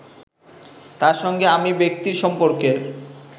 তার সঙ্গে আমি ব্যক্তির সম্পর্কের